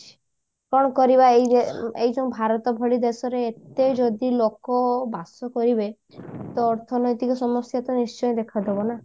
କଣ ଅକରିବା ଏଇ ଯୋଉ ଏଇ ଯୋଉ ଭାରତ ଭଳି ଦେଶରେ ଏତେ ଯଦି ଲୋକ ବାସ କରିବେ ତ ଅର୍ଥନୈତିକ ସମସ୍ଯା ତ ନିଶ୍ଚୟ ଦେଖାଦବ ନା